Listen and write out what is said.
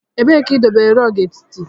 Ebee ka idobere rog etiti?